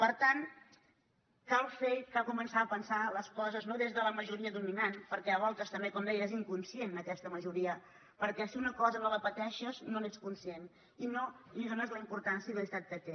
per tant cal fer i cal començar a pensar les coses no des de la majoria dominant perquè a voltes també com deia és inconscient aquesta majoria perquè si una cosa no la pateixes no n’ets conscient i no li dónes la importància i la necessitat que té